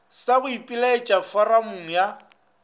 sa go ipelaetša foramong ya